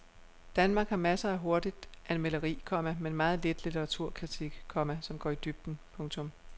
Danmark har masser af hurtigt anmelderi, komma men meget lidt litteraturkritik, komma som går i dybden. punktum